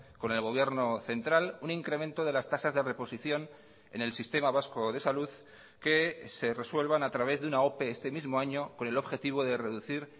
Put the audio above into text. con el gobierno central un incremento de las tasas de reposición en el sistema vasco de salud que se resuelvan a través de una ope este mismo año con el objetivo de reducir